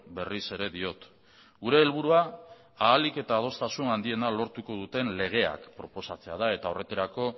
berriz ere diot gure helburua ahalik eta adostasun handiena lortuko duten legeak proposatzea da eta horretarako